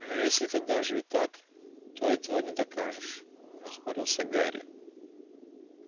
но если это даже и так то этого не докажешь нахмурился гарри